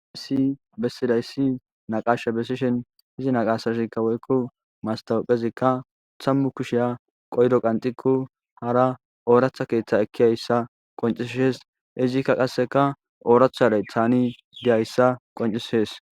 Ayssi bessidayssi naqasha besishin izi naqasashikka woykko mastawuphezikka tammu kusheya qoydo qanxiku hara ooratha keeththa ekkiyayssa qoncis hees izikka qasseka oorathadey taani diyayssa qoncishees.